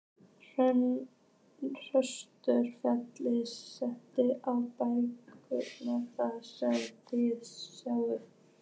Höskuldur: Féll kraninn á bekkinn þar sem þið sátuð?